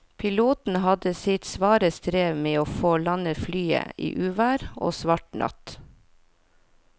Piloten hadde sitt svare strev med å få landet flyet i uvær og svart natt.